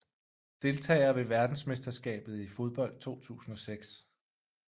Deltagere ved verdensmesterskabet i fodbold 2006